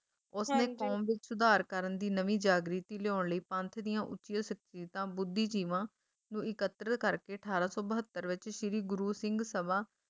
ਉਸਨੇ ਕੌਮ ਵਿੱਚ ਸੁਧਾਰ ਕਰਨ ਦੀ ਨਵੀਂ ਜਾਗ੍ਰਿਤੀ ਲਿਆਉਣ ਲਈ ਪੰਥ ਦੀਆਂ ਉੱਚੀਆਂ ਸਕਤੀਰਤਾਂ ਬੁੱਧੀਜੀਵਾਂ ਨੂੰ ਇਕਤਰਿਤ ਕਰਕੇ ਅਠਾਰਾਂ ਸੌ ਬਹੱਤਰ ਵਿੱਚ ਸ਼੍ਰੀ ਗੁਰੂ ਸਿੰਘ ਸਭਾ,